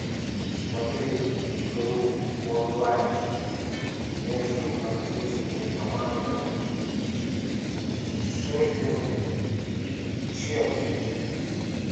смотреть игру онлайн между английскими командами шеффилд и челси